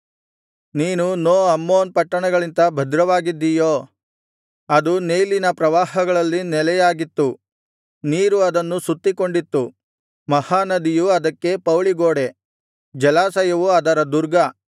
ನೀನು No Amon ಪಟ್ಟಣಗಿಂತ ಭದ್ರವಾಗಿದ್ದೀಯೋ ಅದು ನೈಲಿನ ಪ್ರವಾಹಗಳಲ್ಲಿ ನೆಲೆಯಾಗಿತ್ತು ನೀರು ಅದನ್ನು ಸುತ್ತಿಕೊಂಡಿತ್ತು ಮಹಾ ನದಿಯು ಅದಕ್ಕೆ ಪೌಳಿಗೋಡೆ ಜಲಾಶಯವು ಅದರ ದುರ್ಗ